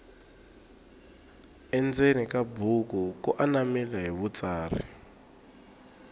endzeni ka buku ku anamile hi vutsari